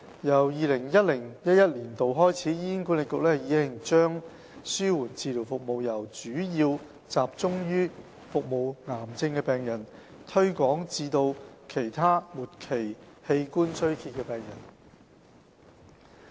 由 2010-2011 年度起，醫管局已將紓緩治療服務由主要集中於服務癌症病人，推廣至其他末期器官衰竭病人。